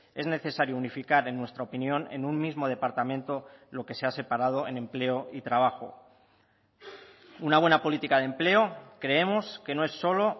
es necesario unificar en nuestra opinión en un mismo departamento lo que se ha separado en empleo y trabajo una buena política de empleo creemos que no es solo